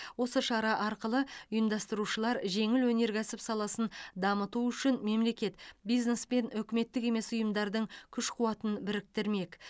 осы шара арқылы ұйымдастырушылар жеңіл өнеркәсіп саласын дамыту үшін мемлекет бизнес пен үкіметтік емес ұйымдардың күш қуатын біріктірмек